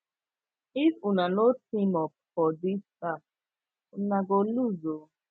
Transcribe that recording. if una no team up for dis task una go loose o